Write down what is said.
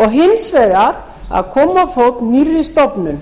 og hins vegar að koma á fót nýrri stofnun